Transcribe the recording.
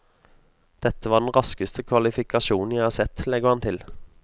Dette var den raskeste kvalifikasjonen jeg har sett, legger han til.